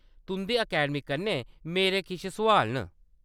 तुंʼदी अकैडमी कन्नै मेरे किश सुआल न।